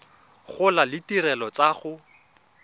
gola le ditirelo tsa go